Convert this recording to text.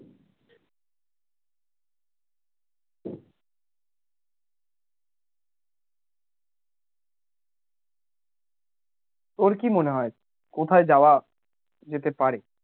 তোর কি মনে হয় কোথায় যাওয়া যেতে পারে?